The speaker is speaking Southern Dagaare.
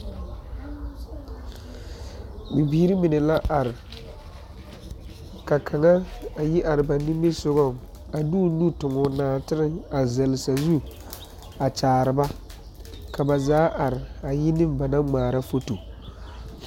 Bibiiri mine la are ka kaŋa a yi are ba nimisogaŋ a de o nu tuŋ nɔɔtere a zɛlle sazu a kyaare ba ka ba zaa are a yi ne ba naŋ ŋmaara foto.